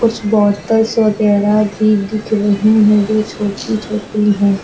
कुछ बॉटल्स वगैरा भी दिख रही है जो छोटी छोटी है।